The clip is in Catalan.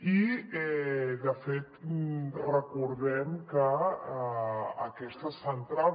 i de fet recordem que aquestes centrals